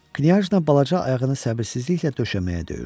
Kniajjla balaca ayağını səbirsizliklə döşəməyə döyürdü.